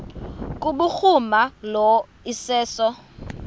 kubhuruma lo iseso